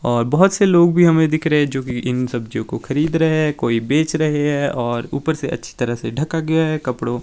और बहुत से लोग भी हमें दिख रहे हैं जो कि इन सब्जियों को खरीद रहे हैं कोई बेच रहे हैं और ऊपर से अच्छी तरह से ढका गया है कपड़ों--